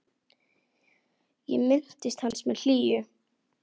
Ég minnist hans með hlýju.